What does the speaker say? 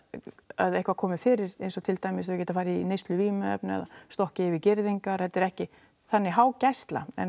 að eitthvað komi fyrir eins og til dæmis þau geta farið í neyslu vímuefna stokkið yfir girðingar þetta er ekki þannig há gæsla en